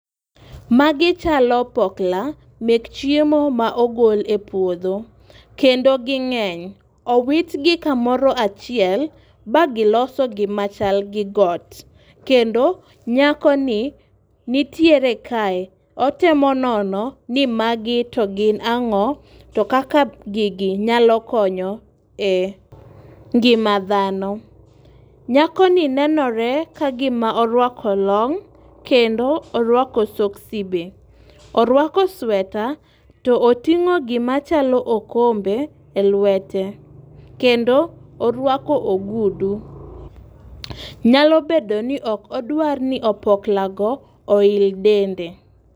Magi chalo pokla mek chiemo ma ogol epuodho kendo ging'eny. Owit gi kamoro achiel ba giloso gima chal gi got kendo nyako ni nitiere kae ,otemo nono ni magi to gin ang'o to kaka gigi nyalo konyo e ngima dhano. Nyako ni nenore ka gima orwako long kendo orwako soksi be. Orwako sweta to oting'o gima chalo okombe e lwete kendo orwako ogudu. Nyalo bedo ni ok odwar ni opokla go oil dende.